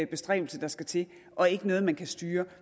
bestræbelse der skal til og ikke noget man kan styre